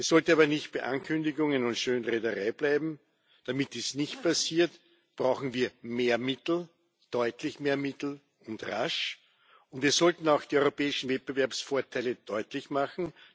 Es sollte aber nicht bei Ankündigungen und Schönrednerei bleiben. Damit dies nicht passiert, brauchen wir mehr Mittel deutlich mehr Mittel und rasch und wir sollten auch die europäischen Wettbewerbsvorteile deutlich machen.